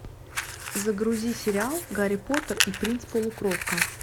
загрузи сериал гарри поттер и принц полукровка